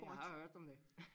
Ja jeg har hørt om det